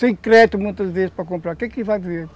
sem crédito muitas vezes para comprar, o que que vai